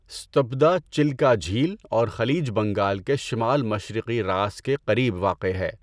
ستپدا چلیکا جھیل اور خلیج بنگال کے شمال مشرقی راس کے قریب واقع ہے۔